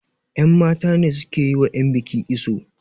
yanmata ne suke yi wa yanbiki iso